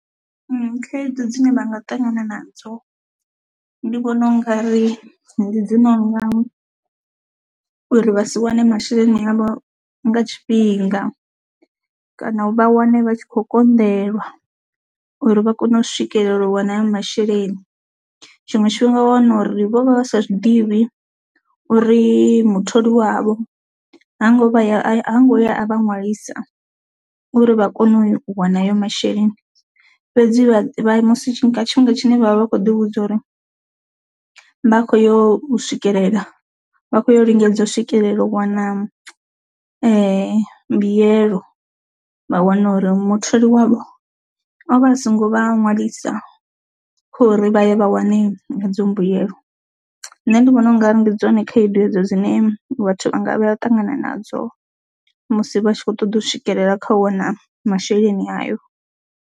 khaedu dzine vha nga ṱangana nadzo ndi vhona u nga ri ndi dzi no nga uri vha si wane masheleni avho nga tshifhinga kana u vha wane vha tshi khou konḓelwa uri vha kone u swikelela u wana haya masheleni. Tshiṅwe tshifhinga wa wana uri vho vha vha sa zwiḓivhi uri mutholi wavho hango vha a ngo ya a vha ṅwalisa uri vha kone u wana hayo masheleni, fhedzi vha musi tshifhinga tshi ne vha vha vha kho ḓi vhudza uri vha kho yo swikelela vha khou yo lingedza u swikelela u wana mbuyelo vha wana uri mutholi wavho o vha a songo vha ṅwalisa khori vha ye vha wane hedzo mbuyelo, nṋe ndi vhona ungari ndi dzone khaedu hedzo dzine vhathu vha nga vha ya u ṱangana nadzo musi vha tshi kho ṱoḓa u swikelela kha u wana masheleni ayo.